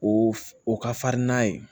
O o ka farin n'a ye